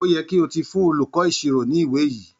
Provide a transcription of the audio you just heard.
Óyẹ kí o ti fún olùkọ́ ìṣirò ní ìwẹ́ yìí!